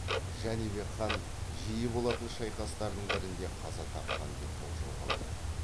жәнібек хан жиі болатын шайқастардың бірінде қаза тапқан деп болжауға болады